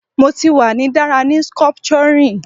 Mo ti wa ni dara ni sculpturing